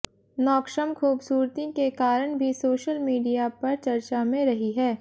नौक्षम खूबसूरती के कराण भी सोशल मीडिया पर चर्चा में रही है